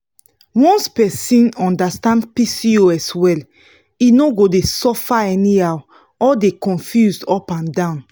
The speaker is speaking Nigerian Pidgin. once person understand pcos well e no go dey suffer anyhow or dey confused up and down.